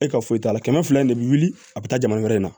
E ka foyi t'a la kɛmɛ fila in de bi wili a be taa jamana wɛrɛ in na